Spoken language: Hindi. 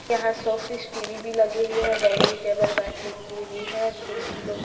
यहां शो पीस टी_वी भी लगे हुए हैं डाइनिंग टेबल बैठने के लिए भी है कुर्सी लो--